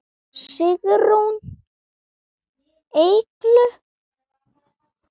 Sigrún Eygló.